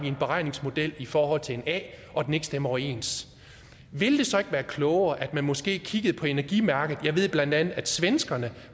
en beregningsmodel i forhold til en aer og at den ikke stemmer overens ville det så ikke være klogere måske at kigge på energimærket jeg ved at blandt andet svenskerne